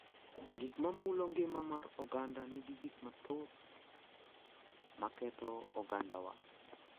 Gik ma mulo ngima mar oganda nigi gik mathoth ma ketho ogandawa.